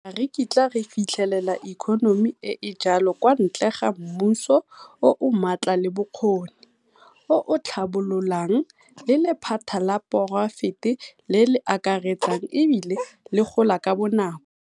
Ga re kitla re fitlhelela ikonomi e e jalo kwa ntle ga mmuso o o maatla le bokgoni, o o tlhabololang, le lephata la poraefete le le akaretsang e bile le gola ka bonako.